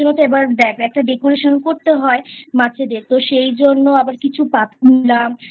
তো দেখ একটা Decoration তো করতে হয় মাছেদের তো সেই জন্য আবার কিছু পাথর নিলাম